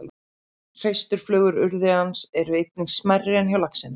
Hreisturflögur urriðans eru einnig smærri en hjá laxinum.